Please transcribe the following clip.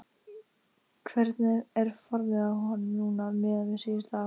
Hvernig er formið á honum núna miðað við síðustu ár?